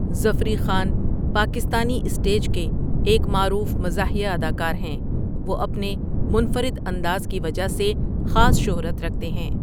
Zafri Khan Pakistani stage کے ایک معروف مزاحیہ اداکار ہیں وه اپنے منفرد انداز کی وجه سے خاص شهرت رکهتے هیں.